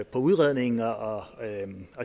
på udredningen og